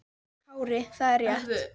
Kári: Það er rétt.